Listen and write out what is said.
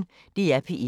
DR P1